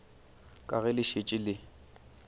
ka ge le šetše le